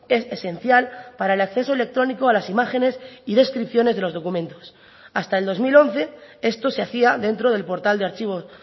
es esencial para el acceso electrónico a las imágenes y descripciones de los documentos hasta el dos mil once esto se hacía dentro del portal de archivos